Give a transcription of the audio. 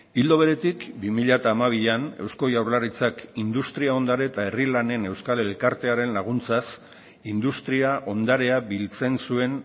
ildo beretik bi mila hamabian eusko jaurlaritzak industria ondare eta herri lanen euskal elkartearen laguntzaz industria ondarea biltzen zuen